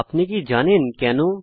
আপনি কি জানেন কেন160